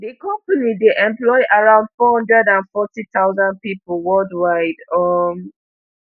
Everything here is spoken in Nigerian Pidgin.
di company dey employ around four hundred and forty thousand pipo worldwide um